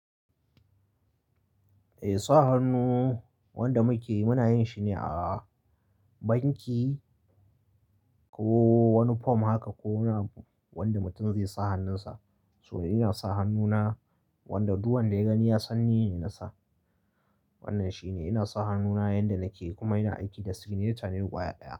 Eh sa hannu wanda muke muna yin shi ne a banki ko wani form haka ko wani abu wanda mutum zai sa hannunsa. So ina sa hannuna wanda du wanda ya gani ya san ni ne nasa. Wannan shi ne ina sa hannuna yanda nake kuma ina aiki da signature ne gwaƴa ɗaya.